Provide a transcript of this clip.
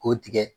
K'o tigɛ